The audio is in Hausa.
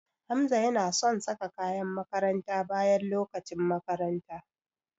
Hamza yana son saka kayan makaranta bayan lokacin makaranta.